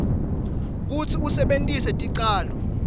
kutsi usebentise ticalo